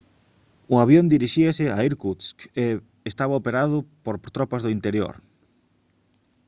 o avión dirixíase a irkutsk e estaba operado por tropas do interior